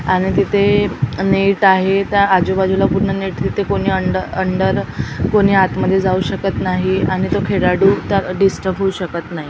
आणि तिथे नेट आहेत आजू-बाजूला पूर्ण नेट तिथे कोणी अंड अंडर अंदर कोणी आत मध्ये जाऊ शकत नाही आणि तो खेळाडू त्याला डिस्टर्ब होऊ शकत नाही.